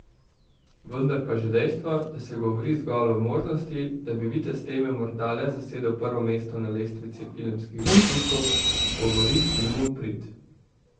Vendar pa že dejstvo, da se govori zgolj o možnosti, da bi Vitez teme morda le zasedel prvo mesto na lestvici filmskih zaslužkov, govori filmu v prid.